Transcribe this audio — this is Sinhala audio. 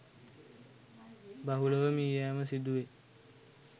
බහුලව මිය යෑම සිදු වේ